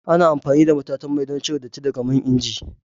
Ana amfani da matatan mai don cire datti daga man inji.